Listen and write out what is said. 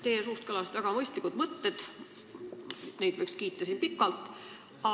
Teie suust kõlasid väga mõistlikud mõtted, neid võiks siin pikalt kiita.